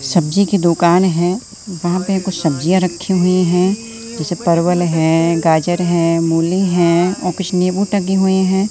सब्जी की दुकान है वहां पे कुछ सब्जिया रखे हुए हैं जैसे परवल है गाजर है मूली है और कुछ नींबू टंगे हुए हैं।